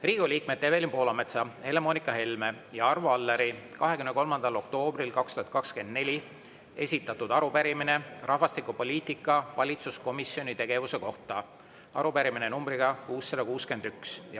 Riigikogu liikmete Evelin Poolametsa, Helle-Moonika Helme ja Arvo Alleri 23. oktoobril 2024 esitatud arupärimine rahvastikupoliitika valitsuskomisjoni tegevuse kohta, nr 661.